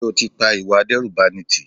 Sé o ti pa ìwà ìdẹ́rùbani tí?